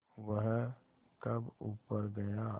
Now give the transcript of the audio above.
वह कब ऊपर गया